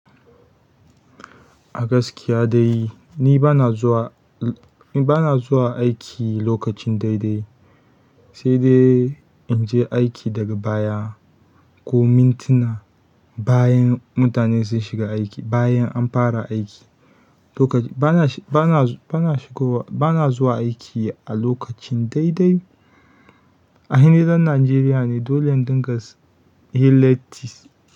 A gaskiya dai ni bana zuwa, ni bana zuwa aiki lokacin daidai, sai dai in je aiki daga baya ko mintuna bayan mutane sun shiga aiki, bayan an fara aiki. Lokacin bana, bana, bana shigo wa, bana zuwa aiki a lokacin daidai. Aini ɗan najeriyane dole in dunga yin letti.